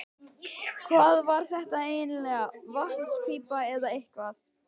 Hvað var þetta eiginlega, vatnspípa eða eitthvað?